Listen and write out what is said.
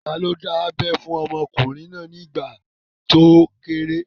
Ta ló dábẹ́ fún ọmọkùnrin náà nígbà tó kéré?